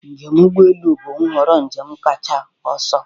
Njem ụgbọ elu bụ nhọrọ njem kacha ọsọ.